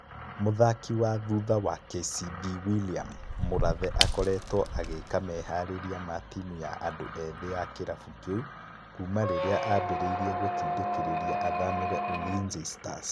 Mũthaki wa thũtha wa KCB Willliam Mũrathe akoretwo agĩka meharĩrĩria ma timu ya andu ethĩ ya kĩrabu kĩu kuma rĩrĩa ambĩrĩirie gũtindĩkĩrĩria athamire Ulinzi Stars